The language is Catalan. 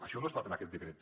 això no es fa en aquest decret